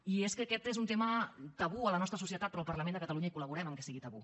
i és que aquest és un tema tabú a la nostra societat però al parlament de catalunya hi col·laborem que sigui tabú